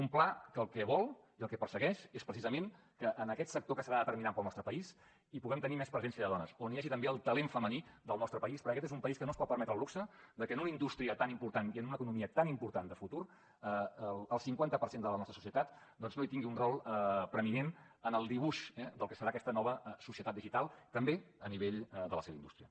un pla que el que vol i el que persegueix és precisament que en aquest sector que serà determinant per al nostre país hi puguem tenir més presència de dones on hi hagi també el talent femení del nostre país perquè aquest és un país que no es pot permetre el luxe de que en una indústria tan important i en una economia tan important de futur el cinquanta per cent de la nostra societat doncs no hi tingui un rol preeminent en el dibuix eh del que serà aquesta nova societat digital també a nivell de la seva indústria